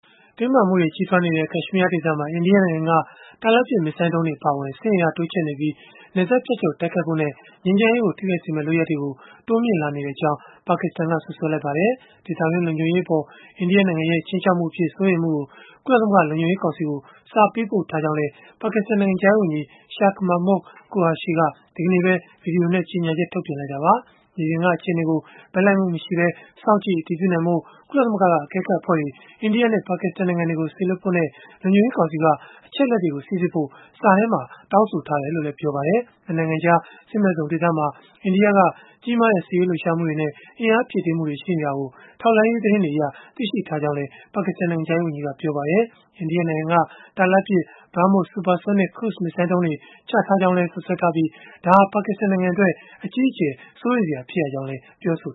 တင်းမာမှုတွေ ကြီးထွားနေတဲ့ ကက်ရှ်မီးယားဒေသမှာ အိန္ဒိယနိုင်ငံက တာလတ်ပစ် မစ်ဇိုင်းဒုံးတွေ အပါအဝင် စစ်အင်အား တိုးချဲ့နေပြီး နယ်စပ်ဖြတ်ကျော် တိုက်ခိုက်ဖို့နဲ့ ငြိမ်းချမ်းရေးကို ထိခိုက်စေမယ့် လုပ်ရပ်တွေကို တိုးမြှင့်လာနေကြောင်း ပါကစ္စတန်က စွပ်စွဲလိုက်ပါတယ်။ ဒေသတွင်း လုံခြုံရေးအပေါ် အိန္ဒိယနိုင်ငံရဲ့ ခြိမ်းခြောက်မှုအဖြစ် စိုးရိမ်မှုကို ကုလသမဂ္ဂ လုံခြုံရေးကောင်စီကို စာပေးပို့ထားကြောင်းလည်း ပါကစ္စတန် နိုင်ငံခြားရေးဝန်ကြီး Shah Mehmood Qureshi က ဒီကနေ့ပဲ ဗွီဒီယိုနဲ့ ကြေညာချက် ထုတ်ပြန်ခဲ့တာပါ။ မြေပြင်က အခြေအနေကို ဘက်လိုက်မှုမရှိဘဲ စောင့်ကြည့်အတည်ပြုနိုင်ဖို့ ကုလသမဂ္ဂက အကဲခတ်အဖွဲ့တွေ အိန္ဒိယနဲ့ ပါကစ္စတန်နိုင်ငံတွေကို စေလွှတ်ဖို့နဲ့ လုံခြုံရေး ကောင်စီက အချက်အလက်တွေကို စိစစ်ဖို့ စာထဲမှာ တောင်းဆိုထားတယ်လို့လည်း ပြောပါတယ်။ ၂ နိုင်ငံကြား စစ်မဲ့ဇုန်ဒေသမှာ အိန္ဒိယက ကြီးမားတဲ့ စစ်ရေးလှုပ်ရှားမှုတွေနဲ့ အင်အားဖြည့်တင်းမှုတွေ ရှိနေတာကို ထောက်လှမ်းရေး သတင်းတွေအရ သိရှိရကြောင်းလည်း ပါကစ္စတန် နိုင်ငံခြားရေးဝန်ကြီးက ပြောပါတယ်။ အိန္ဒိယနိုင်ငံက တာလတ်ပစ် Brahmos supersonic cruise မစ်ဇိုင်းဒုံးတွေ ချထားကြောင်းလည်း စွပ်စွဲထားပြီး ဒါဟာ ပါကစ္စတန်နိုင်ငံအတွက် အကြီးအကျယ် စိုးရိမ်စရာ ဖြစ်ရကြောင်းလည်း ပြောဆို